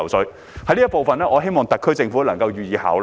主席，就這方面，我希望特區政府能夠予以考慮。